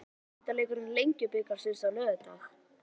Hvernig fer úrslitaleikur Lengjubikarsins á laugardag?